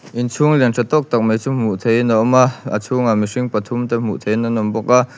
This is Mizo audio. inchhung lian ṭha tawk tak mai chu hmuh theihin a awm a a chhungah mihring pathum te hmuh theih in an awm bawk a.